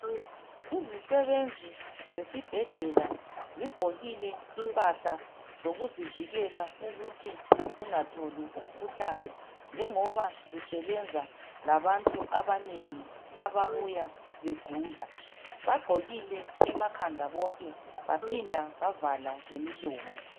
Izisebenzi zesibhedlela zigqokile impahla zokuzivikela ukuthi zingatholi umkhuhlane njengoba zisebenza labantu abanengi ababuya begula, bagqokile emakhanda bonke baphinda bavala lemilomo.